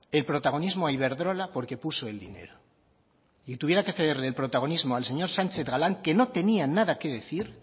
el protagonismo a iberdrola porque puso el dinero y tuviera que cederle el protagonismo al señor sánchez galán que no tenía nada que decir